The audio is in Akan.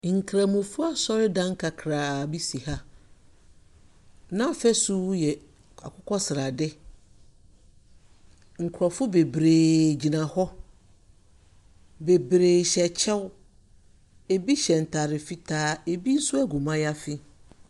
Nkramofo asɔredan kakraa bi bi si ha. N'afasu yɛ akokɔsrade. Nkrɔfo bebree gyina hɔ. Bebree hyɛ kyɛw. Ebi hyɛ ntaare fitaa. Ebi nso agu mayaafi.